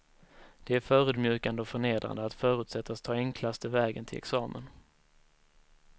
Det är förödmjukande och förnedrande att förutsättas ta enklaste vägen till examen.